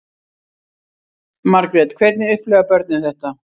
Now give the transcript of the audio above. Margrét: Hvernig upplifa börnin þetta?